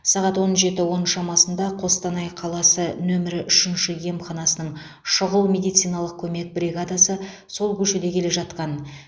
сағат он жеті он шамасында қостанай қаласы нөмірі үшінші емханасының шұғыл медициналық көмек бригадасы сол көшеде келе жатқан